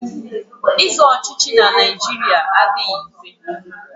Ịzọ ọchịchị na Naịjirịa adịghị mfe.